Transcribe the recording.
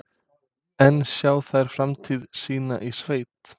En sjá þær framtíð sína í sveit?